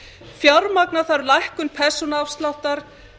fjármagna þarf lækkun persónuafsláttar